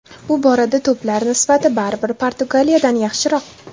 Bu borada to‘plar nisbati baribir Portugaliyada yaxshiroq.